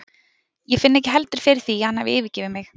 Ég finn ekki heldur fyrir því að hann hafi yfirgefið mig.